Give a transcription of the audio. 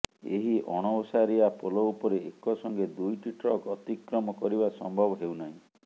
ଏହି ଅଣଓସାରିଆ ପୋଲ ଉପରେ ଏକସଙ୍ଗେ ଦୁଇଟି ଟ୍ରକ ଅତିକ୍ରମ କରିବା ସମ୍ଭବ ହେଉନାହିଁ